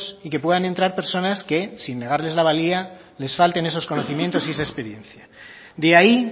y que puedan entrar personas que sin negarles la valía les falten esos conocimientos y esa experiencia de ahí